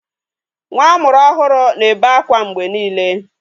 Nwa amụrụ ọhụrụ na-ebe akwa mgbe niile.